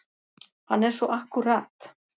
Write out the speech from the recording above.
Hann er svo akkúrat.